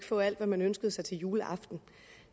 få alt hvad man ønskede sig til juleaften